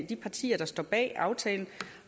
de partier der står bag aftalen